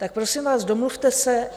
Tak prosím vás, domluvte se.